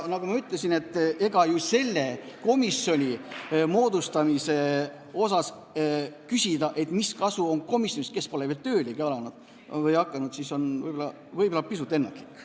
Nagu ma ütlesin, küsida, mis kasu on komisjonist, kes pole veel töölegi hakanud, on võib-olla pisut ennatlik.